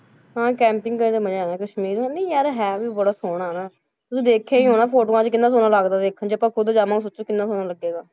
ਹਾਂ camping ਕਰਨ ਦਾ ਮਜ਼ਾ ਆਉਂਦਾ ਕਸ਼ਮੀਰ ਨੀ ਯਾਰ ਹੈ ਵੀ ਬੜਾ ਸੋਹਣਾ ਨਾ, ਤੁਸੀਂ ਦੇਖਿਆ ਹੀ ਹੋਣਾ ਫੋਟੋਆਂ 'ਚ ਕਿੰਨਾ ਸੋਹਣਾ ਲੱਗਦਾ ਦੇਖਣ 'ਚ ਆਪਾਂ ਖੁੱਦ ਜਾਵਾਂਗੇ ਸੋਚੋ ਕਿੰਨਾ ਸੋਹਣਾ ਲੱਗੇਗਾ,